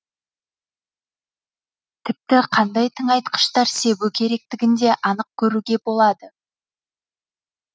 тіпті қандай тыңайтқыштар себу керектігін де анық көруге болады